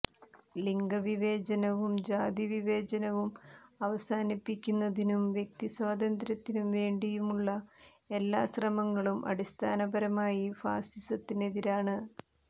ലിംഗവിവേചനവും ജാതിവിവേചനവും അവസാനിപ്പിക്കുന്നതിനും വ്യക്തിസ്വാതന്ത്ര്യത്തിനും വേണ്ടിയുമുള്ള എല്ലാ ശ്രമങ്ങളും അടിസ്ഥാനപരമായി ഫാസിസത്തിനെതിരാണ്